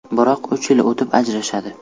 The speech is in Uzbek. Biroq uch yil o‘tib ajrashadi.